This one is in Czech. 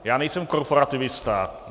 Já nejsem korporativista.